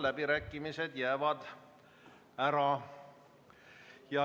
Läbirääkimised jäävad ära.